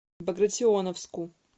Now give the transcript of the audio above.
багратионовску